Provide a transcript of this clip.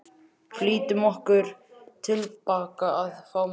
Flýttum okkur tilbaka að fá meir.